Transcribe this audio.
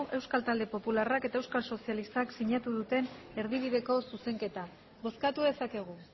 euskal talde popularrak eta euskal sozialistak sinatu duten erdibideko zuzenketa bozkatu dezakegu